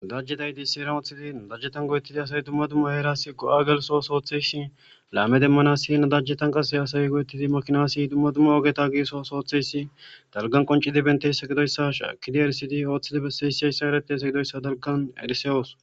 Nadajeta issi heeran woththidi nadajetan go7etidi asay dumma dumma heerasi go7a gelssos ootththiyayssi woththidi nadajetan asay laame demanas nadajetan qasse asay go7etidi makinasi dumma dumma ogeta giigiso ooso oothiyayssi haggan qonccidi bentiyayssa gidoyssa shaakidi erisidi oothidi bessiyayssi hayssan eretiyassa gidoyssa hayssan erisoos.